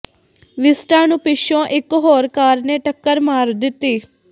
Vista ਨੂੰ ਪਿੱਛੋਂ ਇਕ ਹੋਰ ਕਾਰ ਨੇ ਟੱਕਰ ਮਾਰ ਦਿੱਤੀ